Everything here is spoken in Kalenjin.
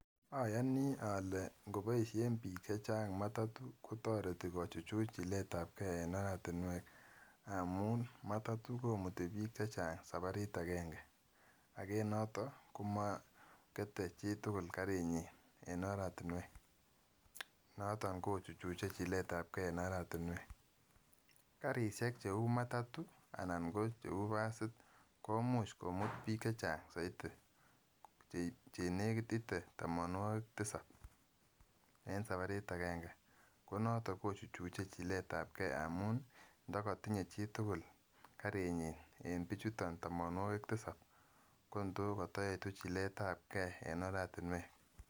Ayoni olee ng'oboishen biik chechang matatoo kotoreti kochuchut chiletabkee en oratinwek amuun matatoo komuti biik chechang sabarit akeng'e akoo enoton komokete chitukul karinyin en oratinwek, noton kochuchuche chiletabkee en oratinwek, karishek cheuu matatoo anan cheuu basit komuch komut biik chechang soiti chenekit itee tomonwokik tisab en sabarit akeng'e, konoton kochuchuche chiletabkee amun ndokotinye chitukul karinyin en bichuton tomonwokik tisab kotoo kotoyetu chiletabkee en oratinwek.